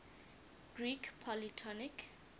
greek polytonic